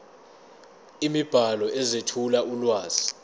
imibhalo ezethula ulwazi